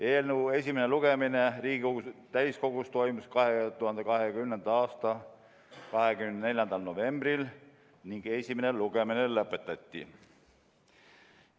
Eelnõu esimene lugemine Riigikogu täiskogus toimus 2020. aasta 24. novembril ning esimene lugemine lõpetati.